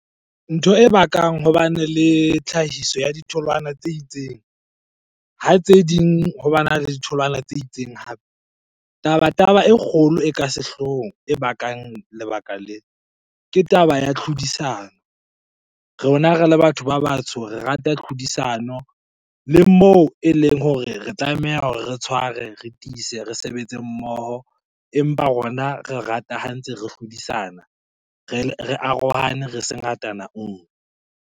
Ntho e bakang ho bane le tlhahiso ya ditholwana tse itseng, ha tse ding ho bana le ditholwana tse itseng hape. Taba-taba e kgolo e ka sehloohong e bakang lebaka lee, ke taba ya tlhodisano. Rona re le batho ba batsho re rata tlhodisano le moo eleng hore re tlameha hore re tshware, re tiise, re sebetse mmoho. Empa rona re rata ha ntse re hlodisana, re arohane re se ngatana nngwe.